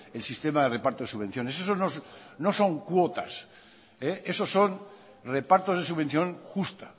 el sistema de reparto de subvenciones eso no son cuotas eso son repartos de subvención justa